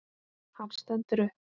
Hann stendur upp.